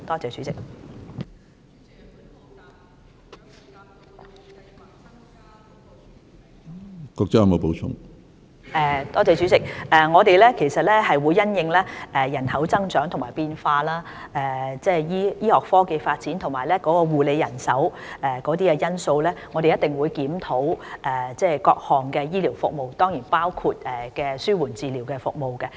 主席，我們一定會因應人口增長和變化、醫學科技的發展及醫護人手等因素，檢討各項醫療服務，當然包括紓緩治療服務。